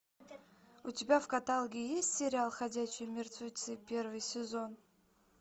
у тебя в каталоге есть сериал ходячие мертвецы первый сезон